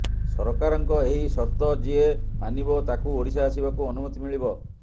ସରକାରଙ୍କ ଏହି ସର୍ତ ଯିଏ ମାନିବ ତାକୁ ଓଡ଼ିଶା ଆସିବାକୁ ଅନୁମତି ମିଳିବ